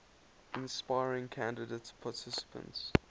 inspiring candidate participants